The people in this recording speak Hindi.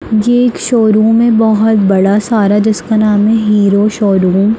ये एक शोरूम है बहुत बड़ा सारा जिसका नाम है हीरो शोरूम ।